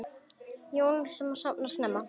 Hjón sem sofna snemma